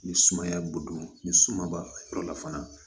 Ni sumaya bo don ni suma b'a yɔrɔ la fana